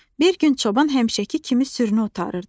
Bir gün çoban həmişəki kimi sürünü otarırdı.